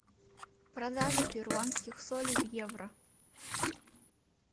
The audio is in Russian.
продажа перуанских солей в евро